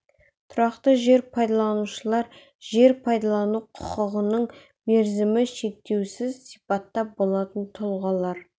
тұрақты жер пайдаланушылар жер пайдалану құқығының мерзімі шектеусіз сипатта болатын тұлғалар